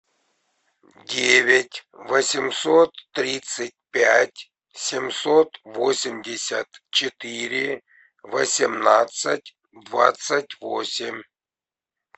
девять восемьсот тридцать пять семьсот восемьдесят четыре восемнадцать двадцать восемь